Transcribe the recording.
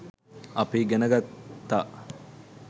අපි ඉගෙන ගත්තා